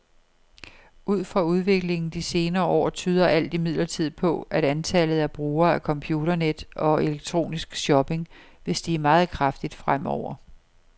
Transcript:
Ud fra udviklingen de senere år tyder alt imidlertid på, at antallet af brugere af computernet og elektronisk shopping vil stige meget kraftigt fremover.